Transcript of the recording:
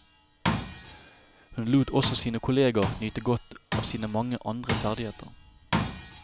Hun lot også sine kolleger nyte godt av sine mange andre ferdigheter.